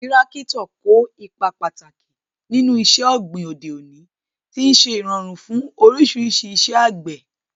Tírákítọ̀ kó ipa pàtàkì nínú iṣẹ́ ọ̀gbìn òde òní, tí ó ń ṣe ìrọ̀rùn fún oríṣiríṣi iṣẹ́ àgbẹ̀.